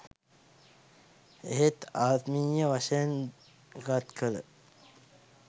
එහෙත් ආත්මීය වශයෙන් ගත් කළ